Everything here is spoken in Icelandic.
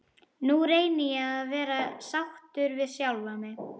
Nú reyni ég að vera sáttur við sjálfan mig.